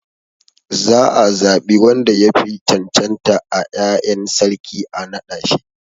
Za a zaɓi wanda yafi cancanta a 'ya'yan sarki a naɗa shi sarki.